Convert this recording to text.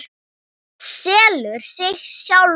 Þetta selur sig sjálft.